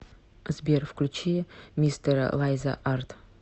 сбер включи мистера лайза арт